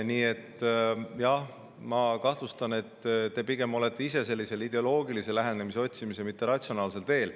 Nii et jah, ma kahtlustan, et te pigem olete ise ideoloogilise lähenemise otsimise, mitte ratsionaalsel teel.